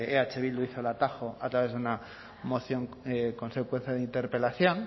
eh bildu hizo el atajo a través de una moción consecuencia de interpelación